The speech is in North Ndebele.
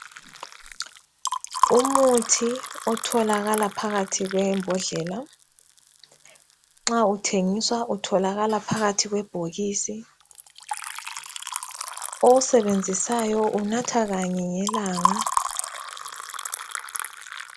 Umuthi otholakala phakathi kwembodlela. Nxa uthengiswa utholakala phakathi kwebhokisi. Owusebenzisayo unatha kanye ngelanga.